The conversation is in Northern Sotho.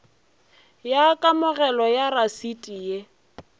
ya kamogelo ya rasiti ye